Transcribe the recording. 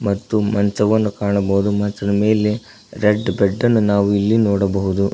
ಮತ್ತು ಮಂಚವನ್ನು ಕಾಣಬೋದು ಮಂಚದ ಮೇಲೆ ರೆಡ್ ಬೆಡ್ ಅನ್ನ ನಾವು ಇಲ್ಲಿ ನೋಡಬಹುದು.